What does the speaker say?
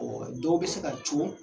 dɔw bɛ se ka co.